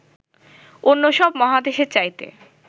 অন্য সব মহাদেশের চাইতে